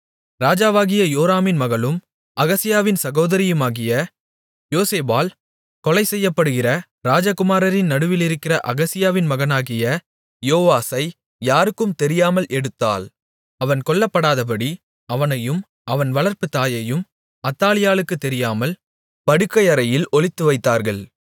ராஜாவாகிய யோராமின் மகளும் அகசியாவின் சகோதரியுமாகிய யோசேபாள் கொலைசெய்யப்படுகிற ராஜகுமாரரின் நடுவிலிருக்கிற அகசியாவின் மகனாகிய யோவாசை யாருக்கும் தெரியாமல் எடுத்தாள் அவன் கொல்லப்படாதபடி அவனையும் அவன் வளர்ப்புத் தாயையும் அத்தாலியாளுக்குத் தெரியாமல் படுக்கையறையில் ஒளித்துவைத்தார்கள்